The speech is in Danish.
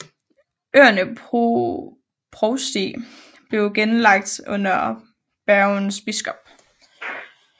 Øernes provsti blev henlagt under Bergens biskop